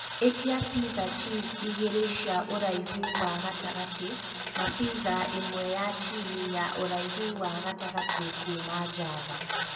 ĩtia pizza cheese igĩrĩ cia ũraihuwa gatagatĩ na piza ĩmweya chili ya ũraihuwa gatagatĩ kuuma Java